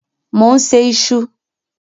Mò ń se iṣu.